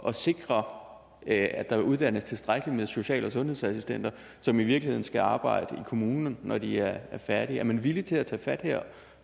at sikre at der uddannes tilstrækkeligt med social og sundhedsassistenter som i virkeligheden skal arbejde i kommunerne når de er færdige er man villig til at tage fat her